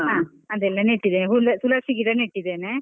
ಹಾ ಅದೆಲ್ಲ ನೆಟ್ಟಿದ್ದೇನೆ, ತು~ ತುಳಸಿ ಗಿಡ ನೆಟ್ಟಿದ್ದೇನೆ.